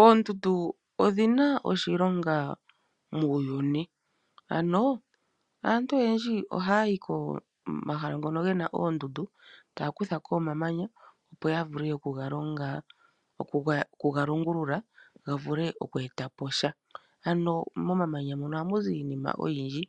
Oondundu odhina oshilonga muuyuni ,ano aantu oyendji oha yi komahala hoka kuna oondundu ta kuthako omamanya opo ya vule okuga longulula ga vule oku etapo sha ,ano momamanya ohamu zi iinima oyindji